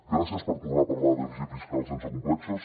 gràcies per tornar a parlar de dèficit fiscal sense complexos